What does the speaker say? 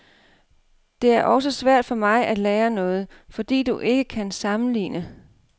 Det er også svært for mig at lære noget, fordi du ikke kan sammenligne.